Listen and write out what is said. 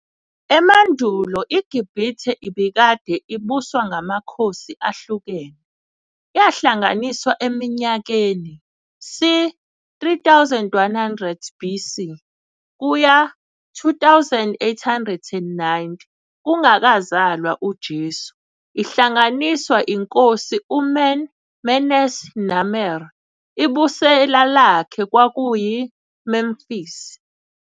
Emandulo iGibhithe ibikade ibuswa ngamakhosi ahlukene, yahlanganiswa eminyakeni c. 3100 BC -2890, kungakazalwa uJesu, ihlanganiswa inkosi uMeni Menes Narmer, Ibusela lakhe kwakuyi Memphis.